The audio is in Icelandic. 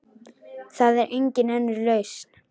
Það er engin önnur lausn.